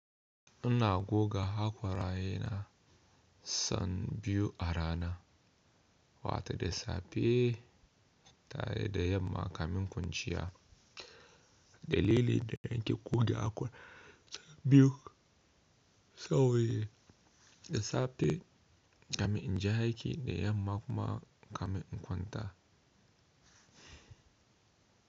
Ina goga haƙwarayena san biyu a rana, wata da safe tare da yamma kamun kwanciya. Dalili da nake goge haƙora biyu sauye da safe zani in je aiki da yamma kuma in kama in kwanta.